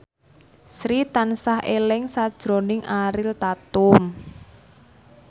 Sri tansah eling sakjroning Ariel Tatum